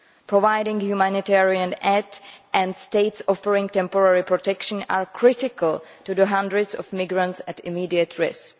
Providing humanitarian aid and states offering temporary protection are critical to the hundreds of migrants at immediate risk.